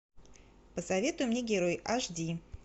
посоветуй мне герой аш ди